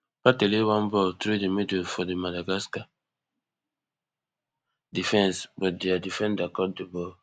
partey lay one ball thru di middle fo di madagascar defense but dia defender cut di ball